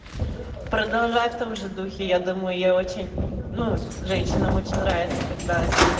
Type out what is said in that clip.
продолжай в том же духе я думаю я очень ну женщинам очень нравится когда типа